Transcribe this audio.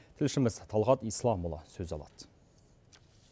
тілшіміз талғат исламұлы сөз алады